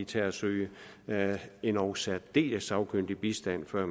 tage og søge endog særdeles sagkyndig bistand før